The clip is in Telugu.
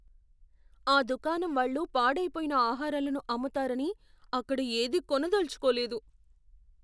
ఆ దుకాణం వాళ్ళు పాడైపోయిన ఆహారాలను అమ్ముతారని అక్కడ ఏదీ కొనదలచుకోలేదు.